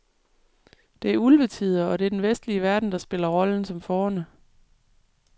Det er ulvetider, og det er den vestlige verden, der spiller rollen som fårene.